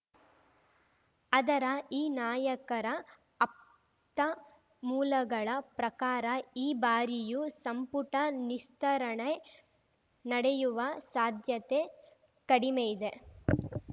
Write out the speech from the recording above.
ಆದರ ಈ ನಾಯಕರ ಆಪ್ತ ಮೂಲಗಳ ಪ್ರಕಾರ ಈ ಬಾರಿಯೂ ಸಂಪುಟ ನಿಸ್ತರಣೆ ನಡೆಯುವ ಸಾಧ್ಯತೆ ಕಡಿಮೆಯಿದೆ